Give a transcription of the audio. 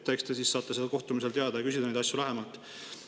Eks te siis saate sellel kohtumisel teada ja küsida neid asju lähemalt.